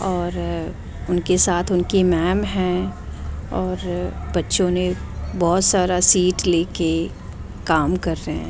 और उनके साथ उनकी मैम है और बच्चों ने बहुत सारा सीट लेके काम कर रहे हैं।